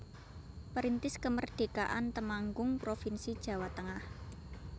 Perintis Kemerdekaan Temanggung provinsi Jawa Tengah